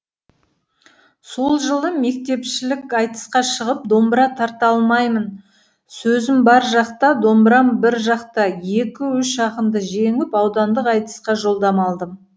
сол жылы мектепішілік айтысқа шығып домбыра тарта алмаймын сөзім бір жақта домбырам бір жақта екі үш ақынды жеңіп аудандық айтысқа жолдама алдым